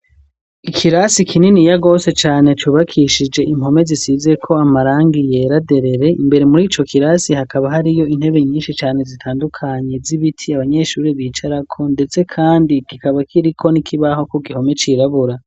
Ikirasi kininiya gose cane cubakishije impome zisize ko amarangi yera derere, imbere muri co kirasi hakaba hariyo intebe nyinshi cane zitandukanye z'ibiti abanyeshuri bicarako ndetse kandi kikaba kiriko n'ikibaho ku gihome cirabura.